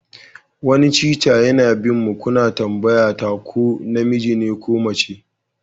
Wani Cheetah yana bin mu kuna tambayata ko namiji ne ko mace